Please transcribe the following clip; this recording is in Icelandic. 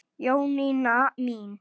Jónína mín.